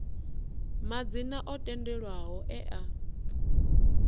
madzina o tendelwaho e a